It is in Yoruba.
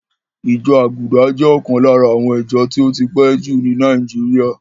Ìjọ Àgùdà jẹ́ ọ̀kan lára àwọn ìjọ tí ó ti pẹ́ jù ní Nàíjíríà.